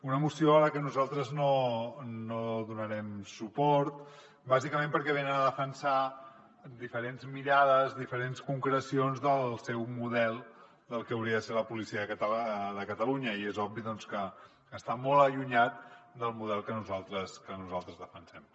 una moció a la que nosaltres no donarem suport bàsicament perquè venen a defensar diferents mirades diferents concrecions del seu model del que hauria de ser la policia de catalunya i és obvi doncs que està molt allunyat del model que nosaltres defensem